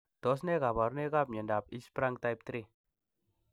Tos nee koborunoikab miondab Hirschsprung type 3?